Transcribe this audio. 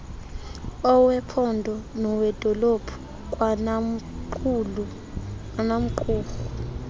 owephondo nowedolophu kwanamqumrhu